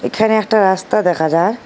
এখানে একটা রাস্তা দেখা যার।